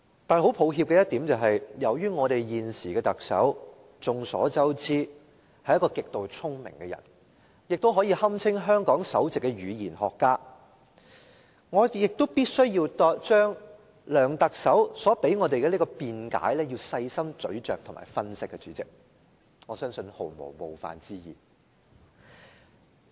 但是，很抱歉的一點是，眾所周知，由於我們現時的特首是一個極度聰明的人，亦可以堪稱香港的首席語言學家，我必須將梁特首所提供給我們的辯解細心咀嚼和分析，代理主席，我相信這毫無冒犯之意。